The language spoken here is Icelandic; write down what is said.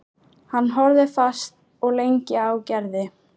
Hann horfði fast og lengi á Gerði.